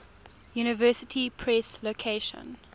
university press location